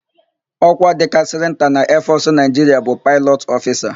Ọ́kwá dịkarịsịrị nta na eefọsụ Naịjiria bụ Paịlọt ọfisa.